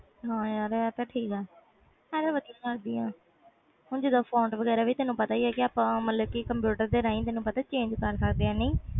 ਹੈ ਯਾਰ ਤੇ ਸਹੀ ਗੱਲ ਆ ਹੁਣ ਤੈਨੂੰ ਪਤਾ ਫੋਨ ਵਗੈਰਾ ਵੀ ਕੰਪਿਊਟਰ ਨਾਲ change ਕਰ ਸਕਦੇ